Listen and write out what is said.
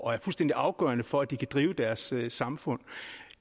er fuldstændig afgørende for at de kan drive deres samfund